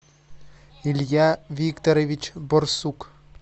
илья викторович борсук